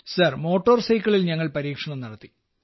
sir motor സൈക്കിളിൽ ഞങ്ങൾ പരീക്ഷണം നടത്തി